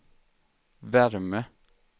värme